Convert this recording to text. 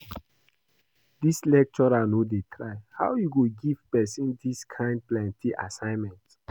Dis lecturer no dey try. How e go give person dis kin plenty assignment?